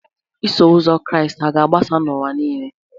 Iso Ụzọ Kraịst hà ga-agbasa n'ụwa nile?